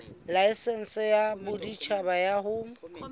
laesense ya boditjhaba ya ho